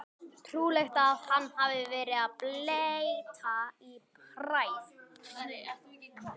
Trúlegt að hann hafi verið að bletta í hræið.